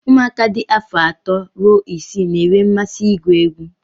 ụmụaka dị afọ atọ ruo isii na-enwe mmasị ịgụ egwu